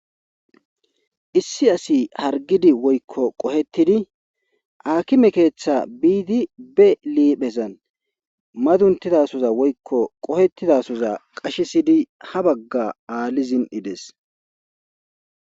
issi asi hargidi woykko qohetidi akime keeththa biidi be liiphezan maduntidasoza woykko qohettidasoza qashesidi ha bagga aali zin'idees.